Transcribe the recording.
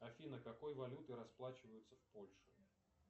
афина какой валютой расплачиваются в польше